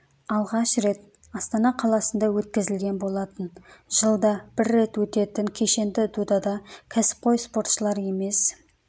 алғаш рет астана қаласында өткізілген болатын жылда бір рет өтетін кешенді додада кәсіпқой спортшылар емес